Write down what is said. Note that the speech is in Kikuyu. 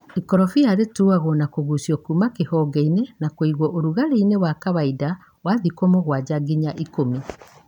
ĩkorobia rĩtuagwo nakũgucia kuma kĩhongeinĩ na kũiguo ũrugarĩini wa kawaida wa thikũ mũgwanja nginya ikũmi.